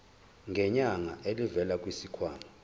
ngenyanga elivela kwisikhwama